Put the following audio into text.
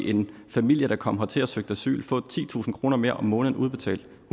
en familie der kom hertil og søgte asyl få titusind kroner mere om måneden udbetalt